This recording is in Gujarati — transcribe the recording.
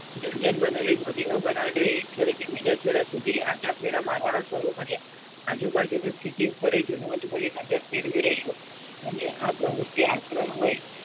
દુર્જન મોદીઓ બર્નાડે એક છેડે થી બીજા છેડા સુધી આટફેરા મારવાના શરૂ કર્યા. આજુબાજુની સ્થિતિ પરએ જીણવટભરી નજર ફેરવી રહ્યો હતો અને આ પ્રવૃત્તિ આક્રમ હોય